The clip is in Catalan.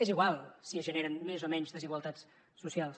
és igual si es generen més o menys desigualtats socials